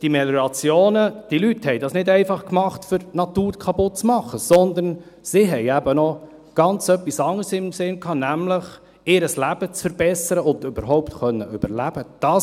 Die Leute machten diese Meliorationen nicht, um die Natur kaputt zu machen, sondern sie hatten etwas ganz anderes im Sinn, nämlich ihr Leben zu verbessern, um überhaupt überleben zu können.